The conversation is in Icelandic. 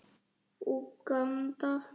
Úganda